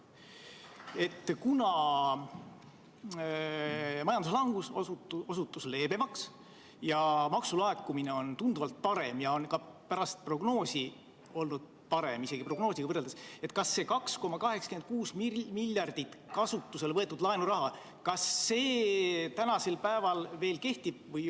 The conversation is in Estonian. Kuna majanduslangus osutus leebemaks, maksulaekumine on tunduvalt parem ja on ka pärast prognoosi tegemist olnud parem, isegi prognoosiga võrreldes, siis kas see 2,86 miljardit eurot kasutusele võetud laenuraha tänasel päeval veel kehtib?